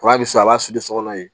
bɛ so a b'a siri so kɔnɔ